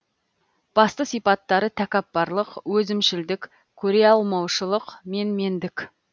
басты сипаттары тәкаппарлық өзімшілдік көре алмаушылық менмендік